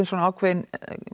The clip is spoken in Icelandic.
svona ákveðin